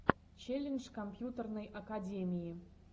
челлендж компьютерной академии